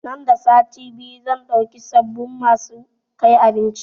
Nan da sati biyu zan dauki sabin masu kai abinci